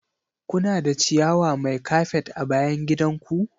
Kuna da ciyawa mai kafet a bayan gidan ku?